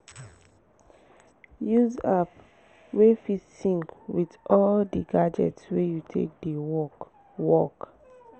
use app wey fit sync with all di gadgets wey you take dey work work